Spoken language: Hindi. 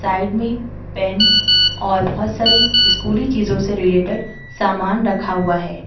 साइड में पेन और बहोत सारी स्कूली चीजों से रिलेटेड सामान रखा हुआ है।